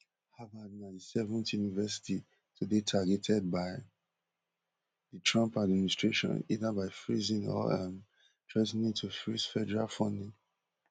harvard na di seventh university to dey targeted by di trump administration either by freezing or um threa ten ing to freeze federal funding